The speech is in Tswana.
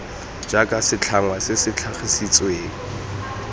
jaaka setlhangwa se se tlhagisitsweng